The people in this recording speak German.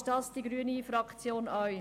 Die grüne Fraktion ist dies klar auch.